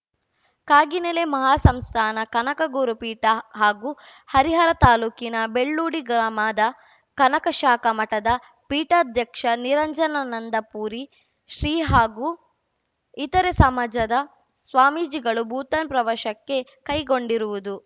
ಕಾಗಿನೆಲೆ ಮಹಾಸಂಸ್ಥಾನ ಕನಕ ಗುರು ಪೀಠ ಹಾಗೂ ಹರಿಹರ ತಾಲೂಕಿನ ಬೆಳ್ಳೂಡಿ ಗ್ರಾಮದ ಕನಕ ಶಾಖಾ ಮಠದ ಪೀಠಾಧ್ಯಕ್ಷ ನಿರಂಜನಾನಂದ ಪುರಿ ಶ್ರೀ ಹಾಗೂ ಇತರೆ ಸಮಾಜದ ಸ್ವಾಮೀಜಿಗಳು ಭೂತಾನ್‌ ಪ್ರವಾಶಕ್ಕೆ ಕೈಗೊಂಡಿರುವುದು